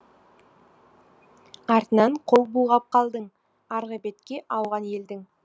артынан қол бұлғап қалдың арғы бетке ауған елдің